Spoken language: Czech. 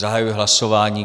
Zahajuji hlasování.